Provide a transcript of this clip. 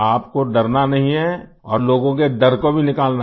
आपको डरना नहीं है और लोगों के डर को भी निकालना है